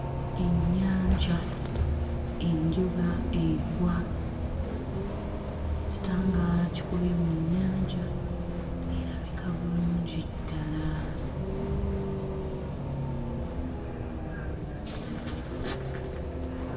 Ennyanja, enjuba egwa. Ekitangaala kikubye mu nnyanja, erabika bulungi ddala.